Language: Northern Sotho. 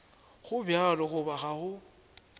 go bjalo goba ga go